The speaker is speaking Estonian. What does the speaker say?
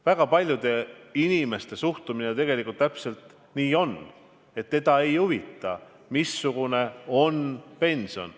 Väga paljude inimeste suhtumine täpselt nii ongi, et neid ei huvita, missugune on pension.